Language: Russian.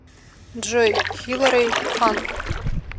джой хилари хан